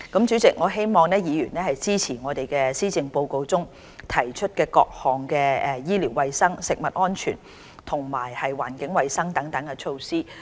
主席，我希望議員支持在施政報告中提出的各項醫療衞生、食物安全及環境衞生等措施。